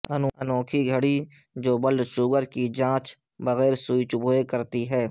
انوکھی گھڑی جو بلڈ شوگر کی جانچ بغیرسوئی چبھوئے کرتی ہے